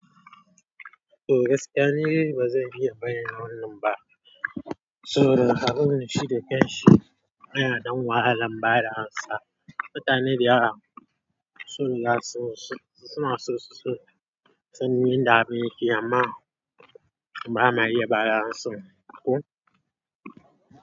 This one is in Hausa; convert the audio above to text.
Toh gaskiya nidai bazan iya bayyana wannan ba saboda, abun shi da kanshi. Ana ɗan wahala ba da amsa. Mutanen dayara su suna so su, sun yanda abin yake amma ba ma iya bada amsa ko.